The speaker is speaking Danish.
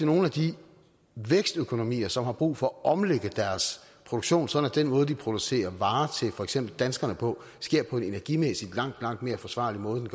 nogen af de vækstøkonomier som har brug for at omlægge deres produktion sådan at den måde de producerer varer til for eksempel danskerne på sker på en energimæssigt langt langt mere forsvarlig måde end